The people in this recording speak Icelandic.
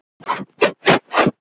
eftir því sem við á.